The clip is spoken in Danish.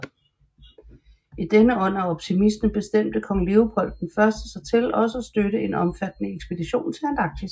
I denne ånd af optimisme bestemte kong Leopold II sig til også at støtte en omfattende ekspedition til Antarktis